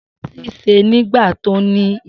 Si sẹ nígbà tọ ní ìyí